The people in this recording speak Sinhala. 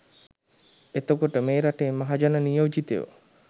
එතකොට මේ රටේ මහජන නියෝජිතයෝ